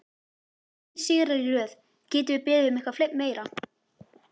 Þrír sigrar í röð, getum við beðið um eitthvað meira?